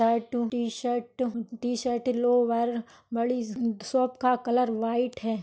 टाटू T-shirt T-shirt lower body shop का colour white है।